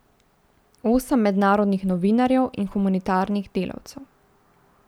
Osem mednarodnih novinarjev in humanitarnih delavcev.